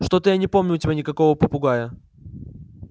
что-то я не помню у тебя никакого попугая